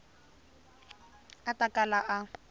a a ta kala a